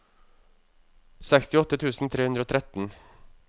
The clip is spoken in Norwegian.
sekstiåtte tusen tre hundre og tretten